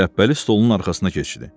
Şəpbəli stolunun arxasına keçdi.